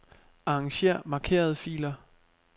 Arranger markerede filer.